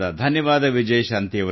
ಧನ್ಯವಾದ ವಿಜಯಶಾಂತಿ